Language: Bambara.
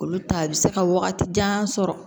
Olu ta bɛ se ka wagati jan sɔrɔ